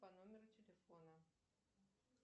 по номеру телефона